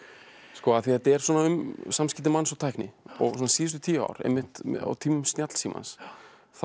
af því þetta er um samskipti manns og tækni og síðustu tíu ár einmitt á tímum snjallsímans þá